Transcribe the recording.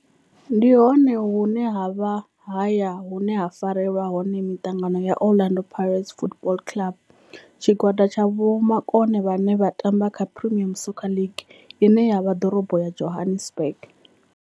Ndi hone hune havha haya hune ha farelwa hone mitangano ya Orlando Pirates Football Club. Tshigwada tsha vhomakone vhane vha tamba kha Premier Soccer League ine ya vha Dorobo ya Johannesburg.